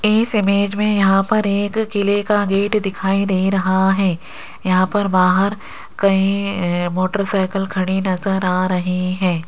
इस इमेज में यहां पर एक किले का गेट दिखाई दे रहा है यहां पर बाहर कई मोटर साइकिल खड़ी नजर आ रही है।